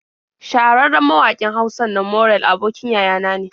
Shahararren mawaƙin Hausan nan Morell abokin yaya na ne.